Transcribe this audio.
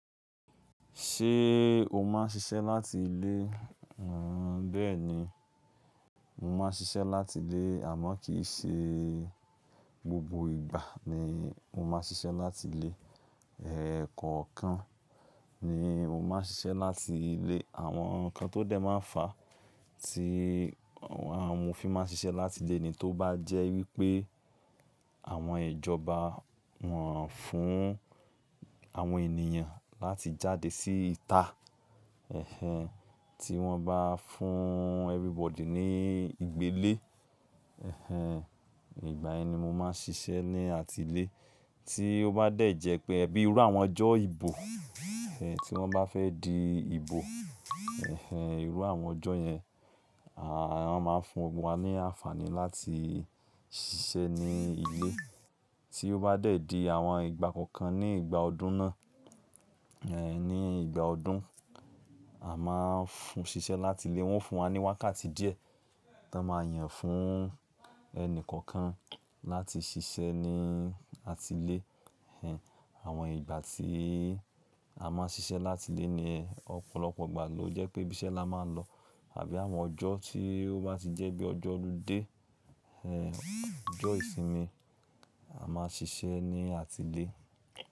Ṣé o máa ń ṣiṣẹ́ láti ilé? Bẹ́ẹ̀ni, mo máa ń ṣiṣẹ́ láti ilé àmọ́ kì í ṣe gbogbo ìgbà ni mo máa ń ṣiṣẹ́ láti ilé. Ẹ̀ẹ̀ kọ̀ọ̀kan ni mo máa ń ṣiṣẹ́ láti ilé. Àwọn nǹkan tó dẹ̀ máa ń fà á tí àwọn amofin máa ń ṣiṣẹ́ láti ilé ni tó bá jẹ́ wípé àwọn ìjọba wọ́n fún àwọn ènìyàn láti jáde síta. Ẹ̀hẹ́n, tí wọ́n bá fún everybody ní ìgbélé. Ẹ̀hẹ́n, ìgbà yẹn ni mo máa ń ṣiṣẹ́ ní àti ilé. Tí ó bá dẹ̀ jẹ́ pé bíi irú àwọn ọjọ́ ìbò, tí wọ́n bá fẹ́ di ìbò. Ẹ̀hẹ́n, irú àwọn ọjọ́ yẹn, a máa ń fún wa ní àǹfààní láti ṣiṣẹ́ ní ilé. Tí ó bá dẹ̀ di àwọn ìgbà kọ̀ọ̀kan ní ìgbà ọdún náà, ní ìgbà ọdún, a máa ń fún ṣiṣẹ́ láti ilé. Wọ́n fún wa ní wákàtí díẹ̀ tó máa yàn fún ẹni kọ̀ọ̀kan láti ṣiṣẹ́ ní àti ilé. Ẹ̀hẹ́n, àwọn ìgbà tí a máa ń ṣiṣẹ́ láti ilé ni ọ̀pọ̀lọpọ̀ ìgbà ló jẹ́ pé ibiṣẹ́ la máa ń lọ àbí àwọn ọjọ́ tí ó bá ti jẹ́ bíi ọjọ́ oludé, ọjọ́ ìsinmi, a máa ṣiṣẹ́ ní àti ilé.